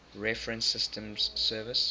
reference systems service